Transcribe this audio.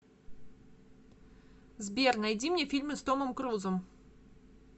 сбер найди мне фильмы с томом крузом